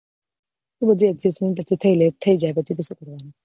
બધું adjustment થયે લે થઇ જાય પછી તો શું કરવાનું